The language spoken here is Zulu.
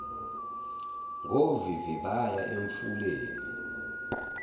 ngovivi baya emfuleni